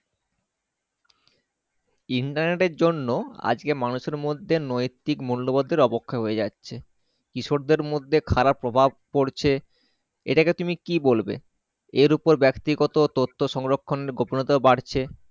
Internet এর জন্য আজকে মানুষের মধ্যে নৈতিক মূল্য বোর্ধে আবক্ষ হয়ে যাচ্ছে কৃষক দেড় মধ্যে খারাপ প্রভাব পড়ছে এটাকে কে তুমি কি বলবে এর ওপর ব্যাক্তি গত তত্ত্ব সংরক্ষণ গোপনতা বাড়ছে।